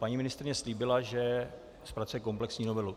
Paní ministryně slíbila, že zpracuje komplexní novelu.